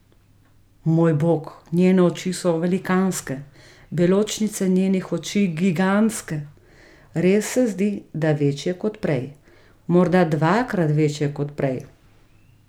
Moj Bog, njene oči so velikanske, beločnice njenih oči gigantske, res se zdi, da večje kot prej, morda dvakrat večje kot prej.